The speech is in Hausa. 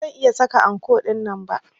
Ba zan iya saka anko dinnan ba.